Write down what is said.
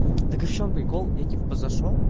так и в чём прикол я типа зашёл